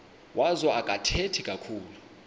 wazo akathethi kakhulu